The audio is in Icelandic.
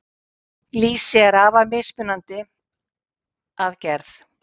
Lýsi er afar mismunandi að gerð.